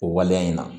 O waleya in na